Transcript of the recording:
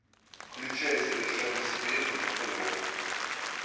включай совершенно секретно на тв